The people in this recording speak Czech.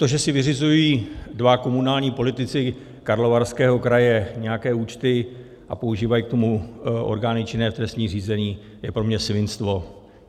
To, že si vyřizují dva komunální politici Karlovarského kraje nějaké účty a používají k tomu orgány činné v trestním řízení, je pro mě svinstvo.